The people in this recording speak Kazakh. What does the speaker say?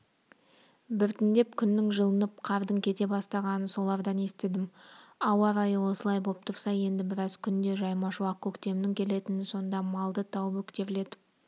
біртіндеп күннің жылынып қардың кете бастағанын солардан естідім ауа райы осылай боп тұрса енді біраз күнде жайма-шуақ көктемнің келетінін сонда малды тау бөктерлетіп